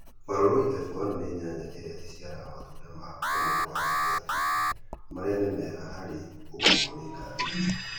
Baruroi F1 nĩ nyanya ĩrĩa ĩciaraga matunda ma unene wa gatagatĩ-inĩ , marĩ a nĩ mega harĩ gũkuo nĩ ngari